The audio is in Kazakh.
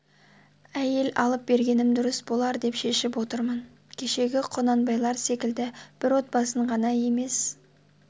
айел алып бергенім дурыс болар деп шешіп отырмын кешегі құнанбайлар секілді бір отбасын ғана емес